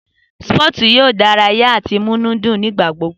Sípọ̀tù yóò dárayà àti múnú dùn ní ìgbàgbogbo